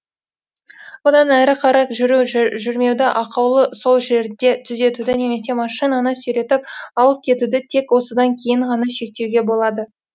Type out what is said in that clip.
бұдан әрі қарай жүру жүрмеуді ақаулы сол жерде түзетуді немесе машинаны сүйретіп алып кетуді тек осыдан кейін ғана шектеуге болады